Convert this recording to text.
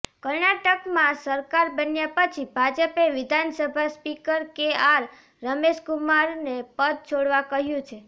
કર્ણાટકમાં સરકાર બન્યા પછી ભાજપે વિધાનસભા સ્પીકર કેઆર રમેશ કુમારને પદ છોડવા કહ્યું છે